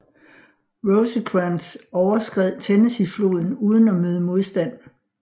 Rosecrans overskred Tennessee floden uden at møde modstand